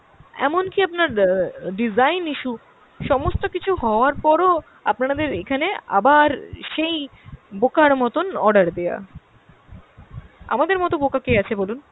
এমনকি আপনার অ্যাঁ design issue। সমস্ত কিছু হওয়ার পর ও আপানারাদের এখানে আবার সেই বোকার মতন order দেওয়া। আমাদের মতো বোকা কে আছে বলুন?